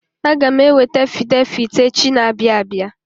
Aga m eweta afidevit echi na-abịa abia.